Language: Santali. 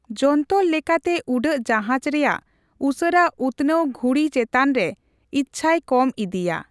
ᱡᱚᱱᱛᱚᱨ ᱞᱮᱠᱟᱛᱮ ᱩᱰᱟᱹᱜ ᱡᱟᱦᱟᱡᱽ ᱨᱮᱭᱟᱜ ᱩᱥᱟᱹᱨᱟ ᱩᱛᱱᱟᱹᱣ ᱜᱷᱩᱲᱤ ᱪᱮᱛᱟᱱ ᱨᱮ ᱤᱪᱪᱷᱟᱹᱭ ᱠᱚᱢ ᱤᱫᱤᱭᱟ ᱾